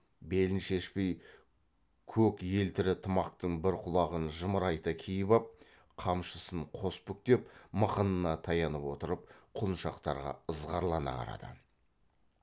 белін шешпей көк елтірі тымақтың бір құлағын жымырайта киіп ап қамшысын қос бүктеп мықынына таянып отырып құлыншақтарға ызғарлана қарады